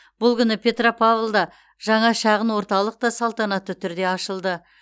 бұл күні петропавлда жаңа шағын орталық та салтанатты түрде ашылды